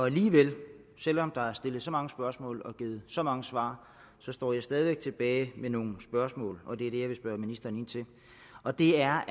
alligevel selv om der er stillet så mange spørgsmål og givet så mange svar står jeg stadig væk tilbage med nogle spørgsmål og det er